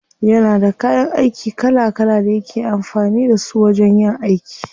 Yana da kayan aiki kala kala da yake amfani da su wajen yin aiki.